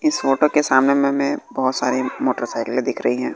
इस फोटो के सामने में मैं बहोत सारी मोटर साइकिले दिख रही है।